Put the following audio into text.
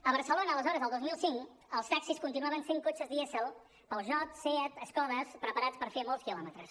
a barcelona aleshores el dos mil cinc els taxis continuaven sent cotxes dièsel peugeot seat skoda preparats per fer molts quilòmetres